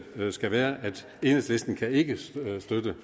skal være at enhedslisten ikke kan støtte